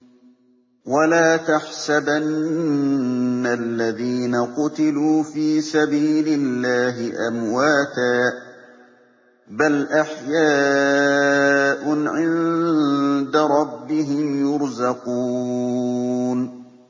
وَلَا تَحْسَبَنَّ الَّذِينَ قُتِلُوا فِي سَبِيلِ اللَّهِ أَمْوَاتًا ۚ بَلْ أَحْيَاءٌ عِندَ رَبِّهِمْ يُرْزَقُونَ